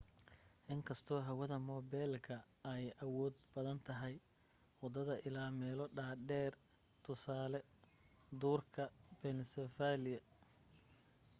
inkastoo hawada moobelka ay awood badan tahay wadada ilaa meelo dhaadheer tusaale duurka pennsylvania